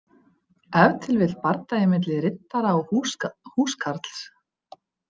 Ef til vill bardagi milli riddara og húskarls.